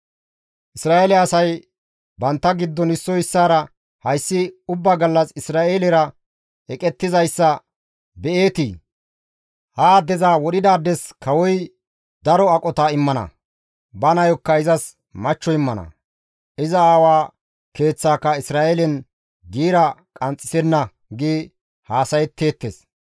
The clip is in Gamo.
Isra7eele asay bantta giddon issoy issaara, «Hayssi ubba gallas Isra7eelera eqettizayssa be7eetii? Ha addeza wodhidaades kawoy daro aqota immana; ba nayokka izas machcho immana; iza aawa keeththaaka Isra7eelen giira qanxxisenna» gi haasayetteettes.